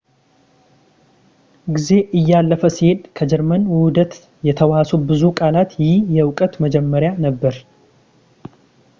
ጊዜ እያለፈ ሲሄድ ከጀርመን ውህደት የተዋሱ ብዙ ቃላት ይህ የእውቀት መጀመሪያ ነበር